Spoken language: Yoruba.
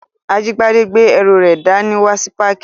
Ajíbádé gbé ẹrù rẹ̀ dá ní wá sí páàkì